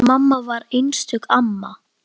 Mamma var einstök amma.